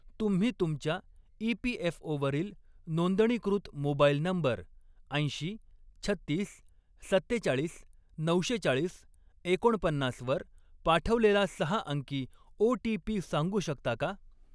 तुम्ही तुमच्या ई.पी.एफ.ओ.वरील नोंदणीकृत मोबाईल नंबर ऐंशी, छत्तीस, सत्तेचाळीस, नऊशे चाळीस, एकोणपन्नास वर पाठवलेला सहा अंकी ओ.टी.पी. सांगू शकता का?